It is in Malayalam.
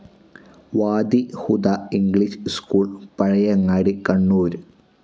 Wadi Huda English school, Pazhayangadi, Kannur